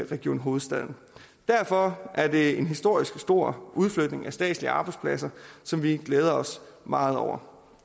region hovedstaden derfor er det en historisk stor udflytning af statslige arbejdspladser som vi glæder os meget over